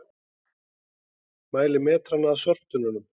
Mæla metrana að sorptunnunum